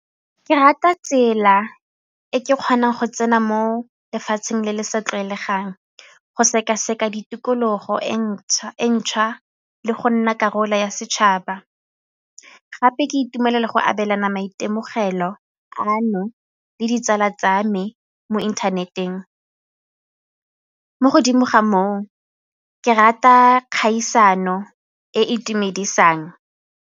Ke rata tsela e ke kgonang go tsena mo lefatsheng le le sa tlwaelegang, go sekaseka di tikologo e ntšhwa le go nna karolo ya setšhaba gape ke itumelela go abelana maitemogelo ano le ditsala tsa me mo inthaneteng, mo godimo ga moo ke rata kgaisano e e itumedisang.